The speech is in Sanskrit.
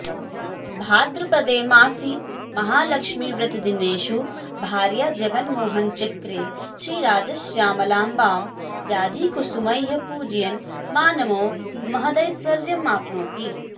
भाद्रपदे मासि महालक्ष्मीव्रतदिनेषु भार्याजगन्मोहनचक्रे श्रीराजश्यामलाम्बां जाजीकुसुमैः पूजयन् मानवो महदैश्वर्यमाप्नोति